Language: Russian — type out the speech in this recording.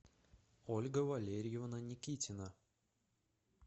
ольга валерьевна никитина